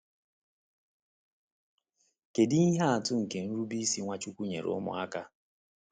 Kedu ihe atụ nke nrube isi Nwachukwu nyere ụmụaka?